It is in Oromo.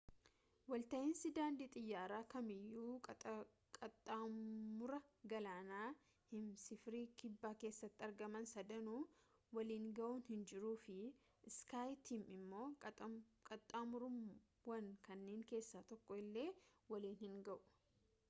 walta’iinsi daandii xiyyaaraa kam iyyuu qaxxaamura galaanaa heemisfiirii kibbaa keessatti argaman sadanuu waliinga’u hinjiru fi iskaaytiim immoo qaxxaamurawwan kanniin keessaa tokko illee waliin hinga’u